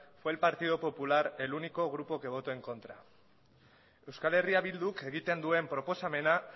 fue el partido popular el único grupo que votó en contra euskal herria bilduk egiten duen proposamena